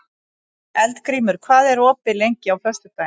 Eldgrímur, hvað er opið lengi á föstudaginn?